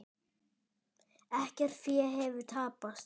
Ekkert fé hefur tapast.